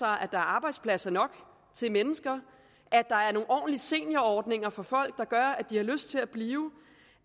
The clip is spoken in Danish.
arbejdspladser nok til mennesker at der er nogle ordentlige seniorordninger for folk der gør at de har lyst til at blive